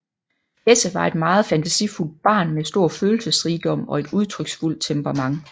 Hesse var et meget fantasifuldt barn med stor følelsesrigdom og et udtryksfuldt temperament